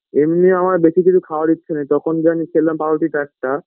এমনি আমার বেশি কিছু খাওয়ার ইচ্ছে নেই তখন যে খেলাম আমি পাউরুটিটা একটা